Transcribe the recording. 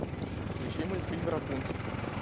включи мультфильм рапунцель